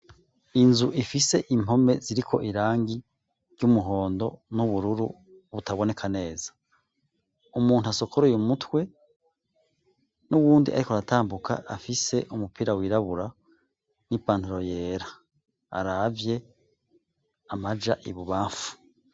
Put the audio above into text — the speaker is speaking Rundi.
Inzu ifise impome ziriko irangi ry'umuhondo n'ubururu butaboneka neza; umuntu asokoroye umutwe n'uwundi ariko aratambuka afise umupira wirabura n'ipantaro yera aravye amaja ibubamfu.